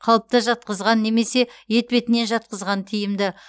қалыпта жатқызған немесе етпетінен жатқызған тиімді